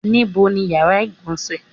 Níbo ni yàrá ìgbọ̀nsẹ̀?